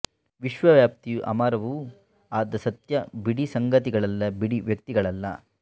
ವಿಶ್ವವ್ಯಾಪಿಯೂ ಅಮರವೂ ಆದ ಸತ್ಯ ಬಿಡಿ ಸಂಗತಿಗಳಲ್ಲ ಬಿಡಿ ವ್ಯಕ್ತಿಗಳಲ್ಲ